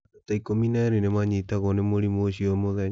Andũ ta ikũmi na erĩ nĩ manyitagũo ni mũrimũ ũcio o mũthenya.